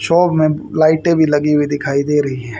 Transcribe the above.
Shop में लाइटें भी लगी हुई दिखाई दे रही हैं।